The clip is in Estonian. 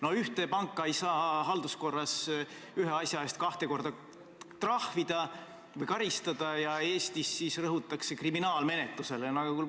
No ühte panka ei saa halduskorras ühe asja eest kahte korda trahvida või karistada ja Eestis rõhutakse kriminaalmenetlusele.